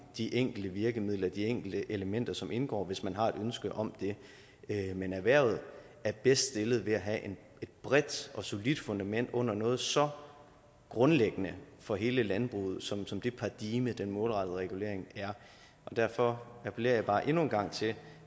de enkelte virkemidler de enkelte elementer som indgår hvis man har et ønske om det men erhvervet er bedst stillet ved at have et bredt og solidt fundament under noget så grundlæggende for hele landbruget som som det paradigme den målrettede regulering er og derfor appellerer jeg bare endnu en gang til